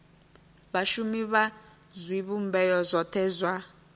vhashumi vha zwivhumbeo zwothe zwa